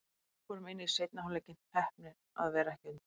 Við fórum inn í seinni hálfleikinn, heppnir að vera ekki undir.